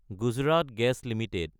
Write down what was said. Gujarat gas Ltd